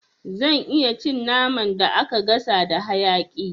Zan iya cin naman da aka gasa da hayaƙi